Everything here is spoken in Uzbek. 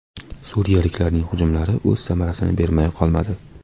Suriyaliklarning hujumlari o‘z samarasini bermay qolmadi.